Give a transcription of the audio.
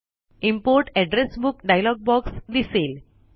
import address book dialog box दिसेल